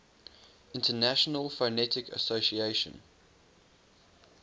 international phonetic association